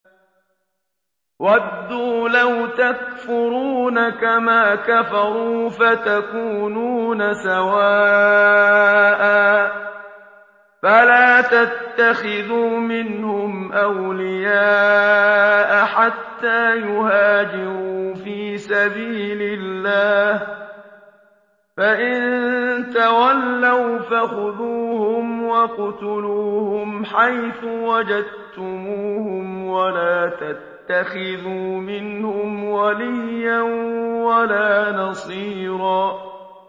وَدُّوا لَوْ تَكْفُرُونَ كَمَا كَفَرُوا فَتَكُونُونَ سَوَاءً ۖ فَلَا تَتَّخِذُوا مِنْهُمْ أَوْلِيَاءَ حَتَّىٰ يُهَاجِرُوا فِي سَبِيلِ اللَّهِ ۚ فَإِن تَوَلَّوْا فَخُذُوهُمْ وَاقْتُلُوهُمْ حَيْثُ وَجَدتُّمُوهُمْ ۖ وَلَا تَتَّخِذُوا مِنْهُمْ وَلِيًّا وَلَا نَصِيرًا